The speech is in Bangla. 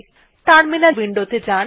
টার্মিনাল উইন্ডো তে যান